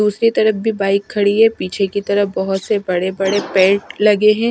दूसरी तरफ भी बाइक खड़ी है। पीछे की तरफ बहुत से बड़े-बड़े पेड़ लगे हैं।